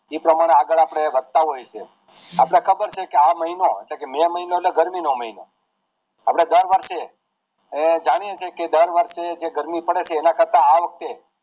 ઈ પ્રમાણે આગળ આપણે વધતા હોઈએ છે આપણે ખબર છે કે આ મહિનો એટલે કે મેં મહિનો એટલે ગરમી નો મહિનો આપડે દર વર્ષે જાણીએ છીએ કે જે ગરમી પડે છે એને કરતા આ વખતે